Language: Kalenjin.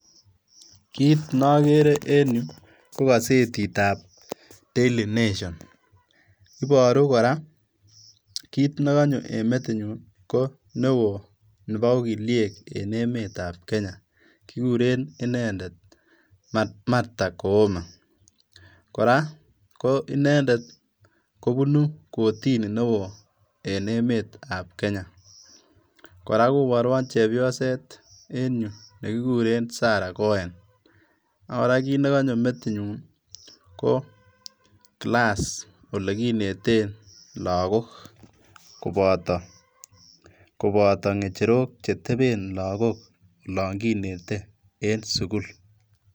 Kiit nokere en yu kokosetitab Daily Nation iboru koraa kiit nekonyoo en metinyun neo nebo ogiliek enemetab Kenya kiguren inendet Marta Koome ,koraa ko inendet kobunu kotininewo en emetab Kenya, koraa koboruon chepyoset en yu nekikuren Sarah Koen, koraa kiit negonyoo metinyuu ko class ole kineten lagok koboto ngenyerok cheteben lagok olon kinete en sukul.